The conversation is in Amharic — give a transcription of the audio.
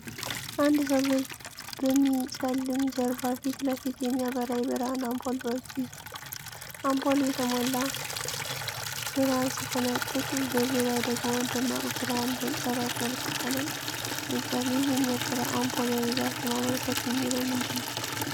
አንድ ሰው በሚጨልም ጀርባ ፊት ለፊት የሚያበራ የብርሃን አምፖል በእጁ ይዟል። አምፖሉ የሞላ ብርሃን ሲፈነጥቅ፣ በዙሪያው ደግሞ ደማቅ ብርሃን በጨረር መልክ ይፈነጫል። ይህ የሚያበራ አምፖል በብዛት ለማመልከት የሚውለው ምንድን ነው?